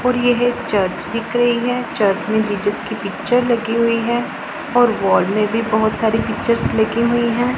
और यह चर्च दिख रही है चर्च में जीसस की पिक्चर लगी हुई है और वॉल में भी बहुत सारी पिक्चर्स लगी हुई हैं।